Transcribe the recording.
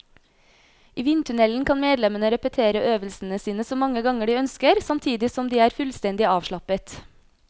I vindtunnelen kan medlemmene repetere øvelsene sine så mange ganger de ønsker, samtidig som de er fullstendig avslappet.